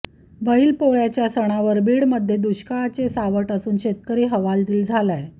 बैल पोळ्याच्या सनावर बीड मध्ये दुष्काळाचे सावट असून शेतकरी हवालदील झालाय